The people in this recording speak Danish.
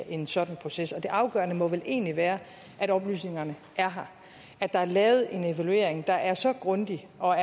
en sådan proces det afgørende må vel egentlig være at oplysningerne er her at der er lavet en evaluering der er så grundig og